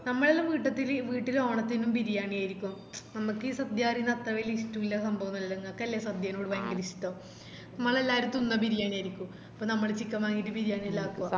നമ്മളെല്ലൊം വീട്ടില് ഓണത്തിന് ബിരിയാണി ആരിക്കും നമുക്ക്‌ ഈ സദ്യ പറയുന്നേ അത്ര വെല്യ ഇഷ്ട്ടുള്ള സംഭവല്ല ഇങ്ങക്കല്ലേ സദ്യെനോട് വെല്യ ഇഷ്ട്ടം മ്മളെല്ലാരും തിന്ന ബിരിയാണിയാരിക്കും അപ്പൊ നമ്മള് chicken വാങ്ങിറ്റ് ബിരിയാണിയെല്ലോ ആക്കുവ